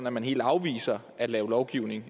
at man helt afviser at lave lovgivning